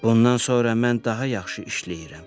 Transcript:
Bundan sonra mən daha yaxşı işləyirəm.